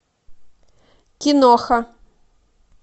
киноха